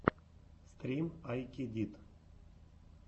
стрим ай кедит